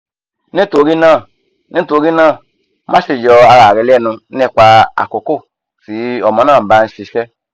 nitorina nitorina maṣe yọ ara rẹ lẹnu nipa akoko ti ọmọ naa ba n ṣiṣẹ